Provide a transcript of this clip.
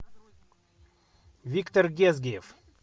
виктор гезгиев